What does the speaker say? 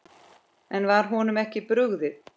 En var honum ekki brugðið?